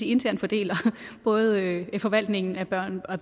internt fordeler både forvaltningen af børnene og